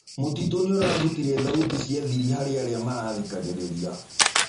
Mũtĩtũ nĩũrarũtĩre thaũtĩ cĩa thĩrĩ harĩ arĩa marathĩkagĩrĩrĩa